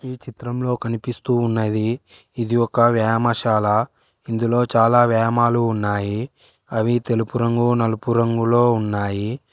చిత్రంలో కనిపిస్తూ ఉన్నది ఇది ఒక వ్యామశాల ఇందులో చాలా వేమాలు ఉన్నాయి అవి తెలుపు రంగు నలుపు రంగులో ఉన్నాయి.